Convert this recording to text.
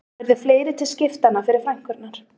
Þá yrðu fleiri til skiptanna fyrir frænkurnar